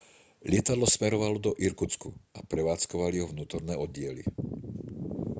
lietadlo smerovalo do irkutsku a prevádzkovali ho vnútorné oddiely